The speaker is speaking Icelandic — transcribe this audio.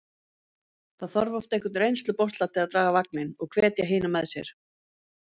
Það þarf oft einhvern reynslubolta til að draga vagninn og hvetja hina með sér.